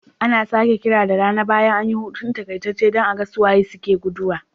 Ana sake kira da rana bayan an yi hutu takaitacce don a ga su waye suka gudu.